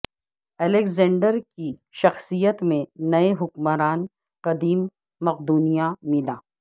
Alexander کی شخصیت میں نئے حکمران قدیم مقدونیہ ملا